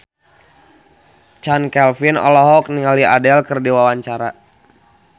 Chand Kelvin olohok ningali Adele keur diwawancara